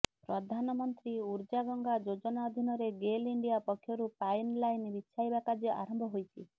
ପ୍ରଧାନମନ୍ତ୍ରୀ ଉର୍ଜାଗଙ୍ଗା ଯୋଜନା ଅଧିନରେ ଗେଲ୍ ଇଣ୍ଡିଆ ପକ୍ଷରୁ ପାଇନ୍ ଲାଇନ୍ ବିଛାଇବା କାର୍ଯ୍ୟ ଆରମ୍ଭ ହୋଇଛି